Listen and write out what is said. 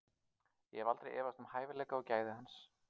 Ég hef aldrei efast um hæfileika og gæði hans.